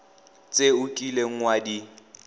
tse o kileng wa di